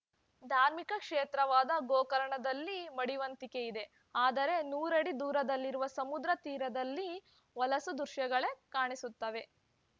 ಧಾರ್ಮಿಕ ಕ್ಷೇತ್ರವಾದ ಗೋಕರ್ಣದಲ್ಲಿ ಮಡಿವಂತಿಕೆ ಇದೆ ಆದರೆ ನೂರಡಿ ದೂರದಲ್ಲಿರುವ ಸಮುದ್ರ ತೀರದಲ್ಲಿ ಹೊಲಸು ದೃಶ್ಯಗಳೇ ಕಾಣಿಸುತ್ತವೆ